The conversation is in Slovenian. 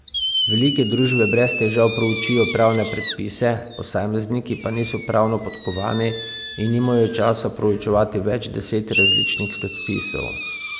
Velike družbe brez težav proučijo pravne predpise, posamezniki pa niso pravno podkovani in nimajo časa proučevati več deset različnih predpisov.